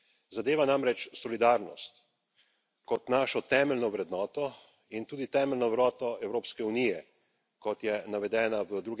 Zadeva namreč solidarnost kot našo temeljno vrednoto in tudi temeljno vrednoto Evropske unije, kot je navedena v